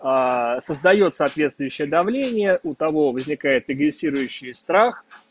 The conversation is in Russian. создаёт соответствующее давление у того возникает и глиссирующий страх